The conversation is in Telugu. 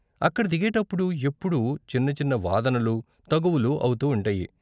అక్కడ దిగేటప్పుడు ఎప్పుడూ చిన్న చిన్న వాదనలు, తగువులు అవుతూ ఉంటాయి.